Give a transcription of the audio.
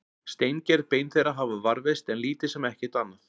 Steingerð bein þeirra hafa varðveist en lítið sem ekkert annað.